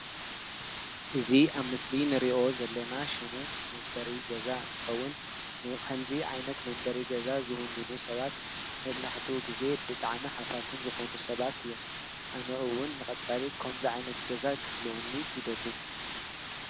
እዚ አብ ምስሊ ኣንሪኦ ዘለና ሽሙ መንበሪ ገዛ እንትኸዉን ንከምዚ ዓይነት መንበሪ ገዛ ዝዉንኑ ሰባት መብዛሕትኡ ግዜ ብጣዕሚ ሃፋትም ዝኾኑ ሰባት እዮም። አነ እዉን ንቀፃሊ ኸምዚ ዓይነት ገዛ ኽህልወኒ ይደሊ።